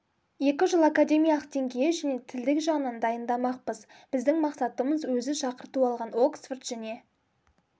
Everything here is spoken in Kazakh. екі жыл академиялық деңгейі және тілдік жағынан дайындамақпыз біздің мақсатымыз өзі шақырту алған оксфорд жне